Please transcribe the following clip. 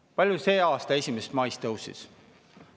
Kui palju see selle aasta 1. mail tõusis?